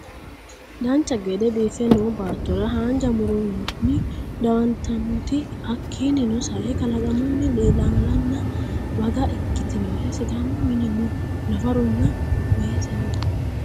dancha gede biiffe noo baattora haanja muronni diwantinota hakkiino sae kalaqamunni ilaalanna bagga ikkitinore sidaamu mini no nafarunna weese no